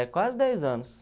É, quase dez anos.